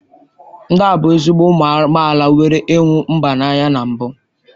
Ndị ahụ bụ ezigbo ụmụ amaala nwere ịhụ mba n'anya na mbụ